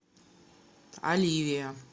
оливия